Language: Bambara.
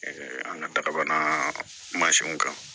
an ka darabana mansinw kan